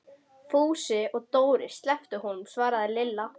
Fúsi og Dóri slepptu honum svaraði Lilla.